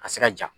A ka se ka ja